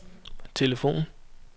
telefon